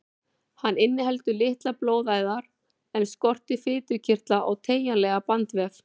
Hann inniheldur litlar blóðæðar en skortir fitukirtla og teygjanlegan bandvef.